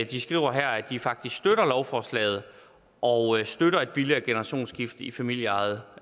de skriver at de faktisk støtter lovforslaget og støtter et billigere generationsskifte i familieejede